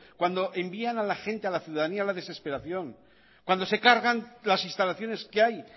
cuando envían a la gente a la ciudadanía a la desesperación cuando se cargan las instalaciones que hay